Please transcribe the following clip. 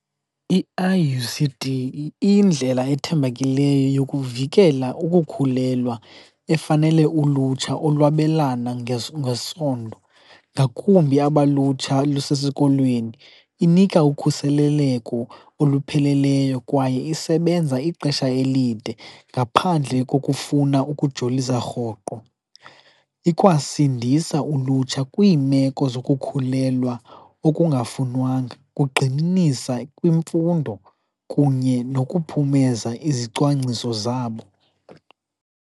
I-I_U_C_D iyindlela ethembakeleyo yokuvikela ukukhulelwa efanele ulutsha olwabelana ngesondo ngakumbi aba lutsha lusesikolweni. Inika ukhuseleleko olupheleleyo kwaye isebenza ixesha elide ngaphandle kokufuna ukujolisa rhoqo. Ikwasindisa ulutsha kwiimeko zokukhulelwa okungafunwanga, kugxininisa imfundo kunye nokuphumeza izicwangciso zabo.